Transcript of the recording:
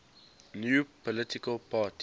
new political party